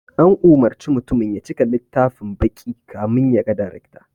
An umurci mutumin ya cika littafin baƙi kamin ya ga darekta